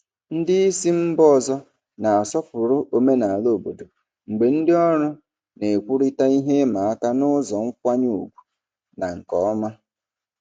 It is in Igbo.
Ndị isi mba ọzọ na-asọpụrụ omenala obodo mgbe ndị ọrụ na-ekwurịta ihe ịma aka n'ụzọ nkwanye ùgwù na nke ọma.